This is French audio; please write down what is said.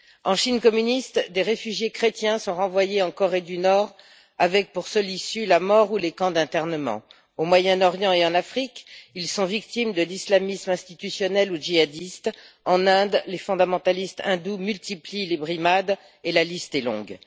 En Chine communiste, des réfugiés chrétiens sont renvoyés en Corée du Nord avec pour seule issue la mort ou les camps d'internement, au Moyen Orient et en Afrique, ils sont victimes de l'islamisme institutionnel ou djihadiste, en Inde, les fondamentalistes hindous multiplient les brimades et la liste est longue.